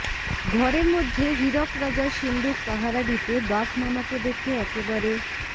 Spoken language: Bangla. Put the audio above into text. ঘরের মধ্যে হীরক রাজার সিন্দুক পাহারা দিতে বাঘ মামাকে দেখে একেবারে